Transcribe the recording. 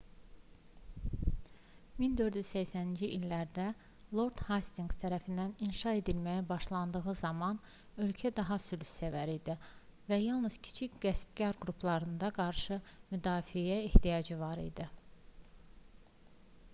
1480-ci illərdə lord hastinqs tərəfindən inşa edilməyə başlandığı zaman ölkə daha sülhsevər idi və yalnız kiçik qəsbkar qruplarına qarşı müdafiəyə ehtiyacı var idi